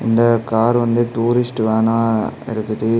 இந்த கார் வந்து டூரிஸ்ட் வேனா இருக்குது.